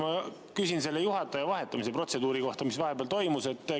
Ma küsin selle juhataja vahetamise protseduuri kohta, mis vahepeal toimus.